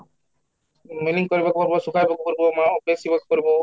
milling କରିବାକୁ ହେବ ସଫା କରିବାକୁ ପଡିବ ମାଲ କରିବ